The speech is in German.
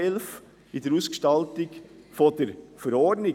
Es geht um die Ausgestaltung der Verordnung.